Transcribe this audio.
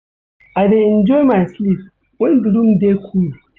I dey enjoy my sleep wen di room dey cool.